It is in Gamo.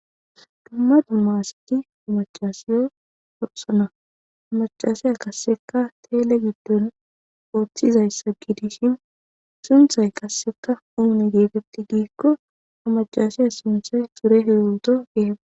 Dumma dumma asati ha macasiyo forsana ha macasiya kasseka teele giddon ooththizayssa gidishin sunthay kasseka uune geetetti giikko amacasiya sunthay sure heewuto geetetawus.